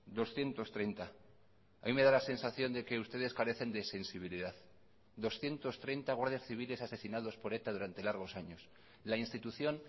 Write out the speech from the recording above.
doscientos treinta a mí me da la sensación de que ustedes carecen de sensibilidad doscientos treinta guardias civiles asesinados por eta durante largos años la institución